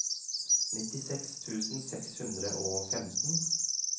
nittiseks tusen seks hundre og femten